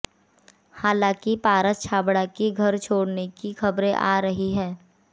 हालांकि पारस छाबड़ा की घर छोड़ने की खबरें आ रही है